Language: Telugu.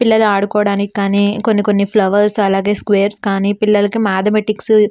పిల్లలు ఆడుకోవడానికి గాని కొన్ని కొన్ని ఫ్లవర్స్ అలాగే స్క్వేర్ గని పిల్లలకి మాటచెమాటిక్స్ --